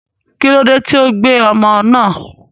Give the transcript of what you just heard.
kílódé tí o fi gbé ọmọ náà?